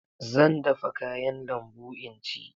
Zan dafa kayan lambu in ci.